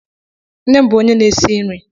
Nne m bụ onye na-esi nri.